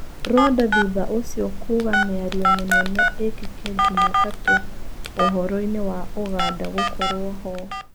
Rwanda thutha ũcio kuuga mĩario mĩnene ĩkĩke Jumatatũũhoroi-nĩ wa ũganda gũkorwo hoo.